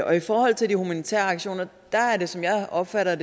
og i forhold til de humanitære aktioner er der som jeg opfatter